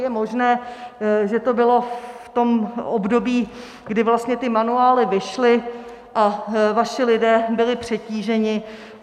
Je možné, že to bylo v tom období, kdy vlastně ty manuály vyšly, a vaši lidé byli přetíženi.